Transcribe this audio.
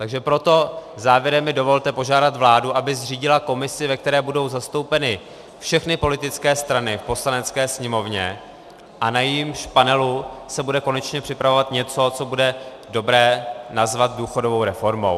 Takže proto závěrem mi dovolte požádat vládu, aby zřídila komisi, ve které budou zastoupeny všechny politické strany v Poslanecké sněmovně a na jejímž panelu se bude konečně připravovat něco, co bude dobré nazvat důchodovou reformou.